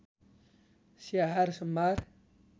स्याहार सम्भार